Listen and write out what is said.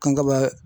Kan ka